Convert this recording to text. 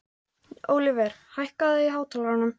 Ólíver, hækkaðu í hátalaranum.